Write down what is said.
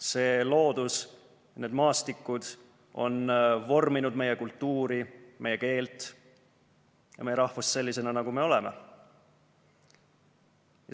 See loodus, need maastikud on vorminud meie kultuuri, meie keelt ja meie rahvust selliseks, nagu me oleme.